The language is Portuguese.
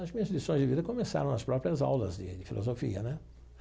As minhas lições de vida começaram nas próprias aulas de de filosofia né.